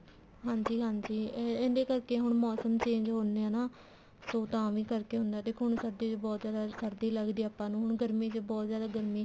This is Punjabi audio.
ਹਾਂਜੀ ਹਾਂਜੀ ਇਹਦੇ ਕਰਕੇ ਹੁਣ ਮੋਸਮ change ਹੁੰਦੇ ਆ ਨਾ ਸੋ ਤਾਂ ਵੀ ਕਰਕੇ ਹੁਣ ਦੇਖੋ ਸਰਦੀ ਚ ਬਹੁਤ ਜਿਆਦਾ ਸਰਦੀ ਲੱਗਦੀ ਆ ਆਪਾਂ ਨੂੰ ਹੁਣ ਗਰਮੀ ਚ ਬਹੁਤ ਜਿਆਦਾ ਗਰਮੀ